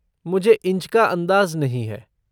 मुझे इंच का अन्दाज़ नहीं है।